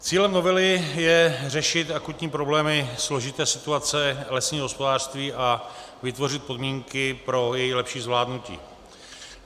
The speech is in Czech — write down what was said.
Cílem novely je řešit akutní problémy složité situace lesního hospodářství a vytvořit podmínky pro její lepší zvládnutí.